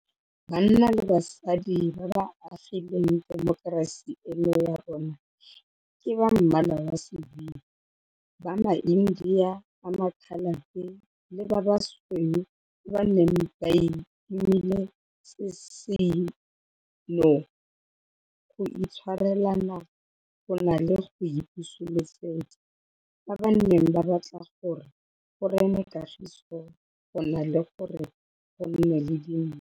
Banna le basadi ba ba agileng temokerasi eno ya rona ke ba Mmala wa Sebilo, ba maIndia, ba maKhalate le ba Basweu ba ba neng ba itomile sesino go itshwarelana go na le go ipusulosetsa, ba ba neng ba batla gore go rene kagiso go na le gore go nne le dintwa.